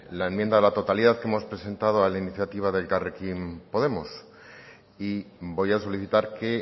la enmienda a la totalidad que hemos presentado a la iniciativa de elkarrekin podemos y voy a solicitar que